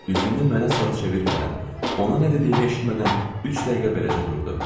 Üzünü mənə sarı çevirmədən, ona nə dediyimi eşitmədən üç dəqiqə beləcə durdu.